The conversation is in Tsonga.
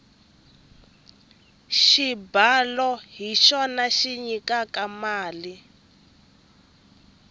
xibalo hi xona xi nyikaka tiko mali